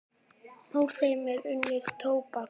Úr þeim er unnið tóbak.